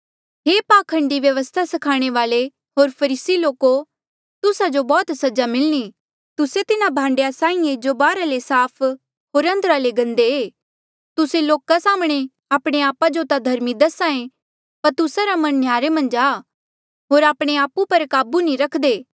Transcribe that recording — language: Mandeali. हे पाखंडी व्यवस्था स्खाणे वाल्ऐ होर फरीसी लोको तुस्सा जो बौह्त सजा मिलणी तुस्से तिन्हा भांडेया साहीं ऐ जो बाहरा ले साफ होर अंदरा ले गंदे तुस्से लोका साम्हणें आपणे आपा जो ता धर्मी दस्हा ऐें पर तुस्सा रा मन न्ह्यारे मन्झ आ होर आपणे आपु पर काबू नी रखदे